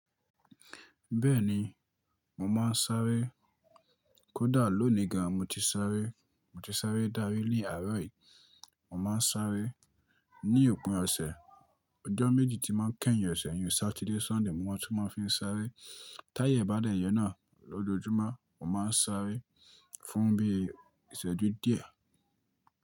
Bẹ́ẹ̀ni, mo máa ń sáré. Kódà lónìí gan, mo ti sáré. Mo ti sáré dárí ní àárọ̀ yìí. Mo máa ń sáré ní òpin ọ̀sẹ̀, ọjọ́ méjì tí mọ ń kẹ́yìn ọ̀sẹ̀, iyun satide, Sunday mo máa tún máa fi ń sáré. Táyẹ́ bá dẹ̀yọ̀ náà lójoojúmọ́, mo máa ń sáré fún bí i ìṣẹ́jú díẹ̀